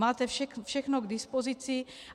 Máte všechno k dispozici.